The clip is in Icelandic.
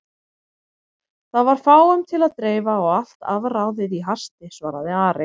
Það var fáum til að dreifa og allt afráðið í hasti, svaraði Ari.